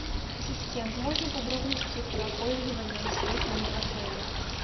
ассистент можно подробности про пользование сейфом в отеле